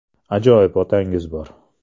“Ajoyib otangiz bor.